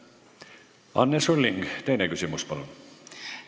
Anne Sulling, teine küsimus, palun!